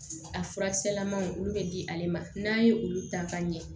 A furakisɛlamaw olu bɛ di ale ma n'a ye olu ta ka ɲɛ